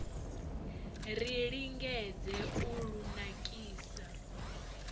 ri lingedze u lu nakisa